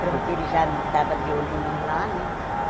Pronto, ele já estava de olho em mim lá, né?